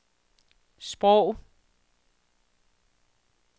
sprog